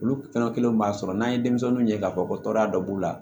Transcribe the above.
Olu tɔnɔ kelenw b'a sɔrɔ n'an ye denmisɛnninw ye k'a fɔ ko tɔɔrɔya dɔ b'u la